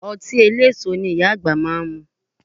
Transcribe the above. Ọtí eléso ni Ìyá àgbà máa ń mu